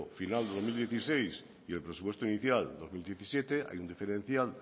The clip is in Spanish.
final del dos mil dieciséis y el presupuesto inicial dos mil diecisiete hay un diferencial